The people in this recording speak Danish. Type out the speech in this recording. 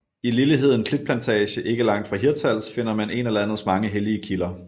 I Lilleheden Klitplantage ikke langt fra Hirtshals finder man en af landets mange hellige kilder